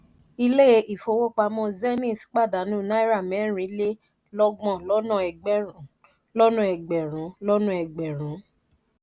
ìle ifówopàmọ́ zenith pàdánù náírà mẹrin le lọgbọ́n lọ́nà egberun lọ́nà egberun lọ́nà egberun